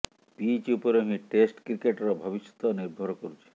pitch ଉପରେ ହିଁ test କ୍ରିକେଟର ଭବିଷ୍ୟତ ନିର୍ଭର କରୁଛି